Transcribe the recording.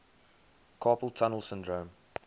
carpal tunnel syndrome